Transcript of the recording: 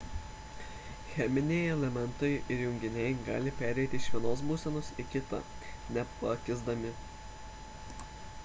cheminiai elementai ir junginiai gali pereiti iš vienos būsenos į kitą nepakisdami